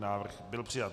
Návrh byl přijat.